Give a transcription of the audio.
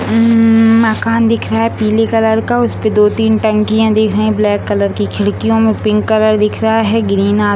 हम्म मकान दिख रहा है पीले कलर का उसपे दो-तीन टंकियां दिख रही है ब्लैक कलर की खिड़कियां में पिंक कलर दिख रहा है ग्रीन अ --